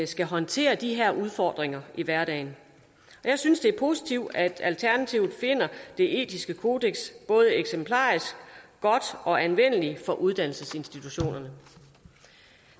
skal håndtere de her udfordringer i hverdagen jeg synes det er positivt at alternativet finder det etiske kodeks både eksemplarisk godt og anvendeligt for uddannelsesinstitutionerne